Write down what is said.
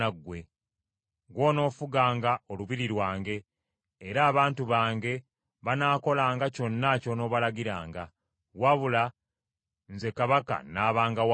Gw’onoofuganga olubiri lwange, era abantu bange banaakolanga kyonna ky’onoobalagiranga; wabula nze kabaka n’abanga waggulu wo.”